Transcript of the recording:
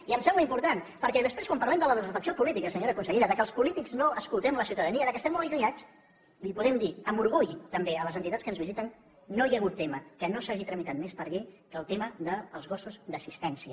i em sembla important perquè després quan parlem de la desafecció política senyora consellera que els polítics no escoltem la ciutadania que estem molt allunyats els podem dir amb orgull també a les entitats que ens visiten que no hi ha hagut tema que no s’hagi tramitat més per llei que el tema dels gossos d’assistència